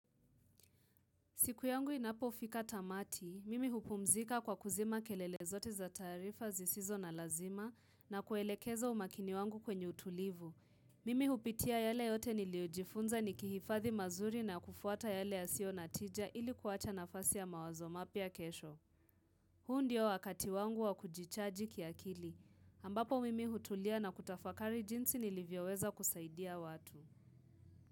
Siku yangu inapo fika tamati, mimi hupumzika kwa kuzima kelele zote za tarifa zisizo na lazima na kuelekeza umakini wangu kwenye utulivu. Mimi hupitia yale yote niliojifunza nikihifathi mazuri na kufuata yale yasio natija ili kuwacha nafasi ya mawazo mapia kesho. Huu ndio wakati wangu wa kujichaji kiakili. Ambapo mimi hutulia na kutafakari jinsi nilivyo weza kusaidia watu.